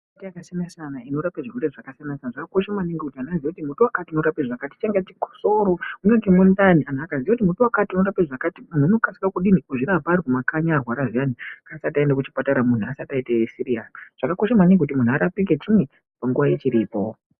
Miti yakasiyana-siyana inorapa zvirwere zvakasiyana-siyana zvakakosha maningi kuti vantu vaziye kuti muti wakati unorapa zvakati . Chingava chikosoro mungave mundani. Vantu vakaziya kuti mumbuti wakati unorapa zvakati, vantu vanokasira kudini, kuzvirapa vari kumakanyi arwara zviyani asati aenda kuchipatara muntu asati aita siriyasi. Zvakakosha maningi kuti muntu arapike chinyi nguwa ichiripo.